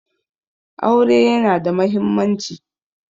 Aure yana da mahimmanci.